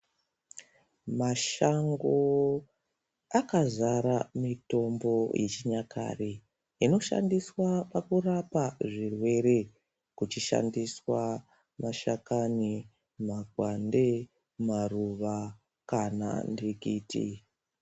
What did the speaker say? Mashango akazara mitombo yechinyakare inoshandiswa pakurapa zvirwere kuchishandiswa mashakani, makwande, maruva kana nhikiti.